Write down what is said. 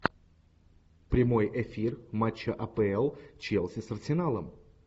прямой эфир матча апл челси с арсеналом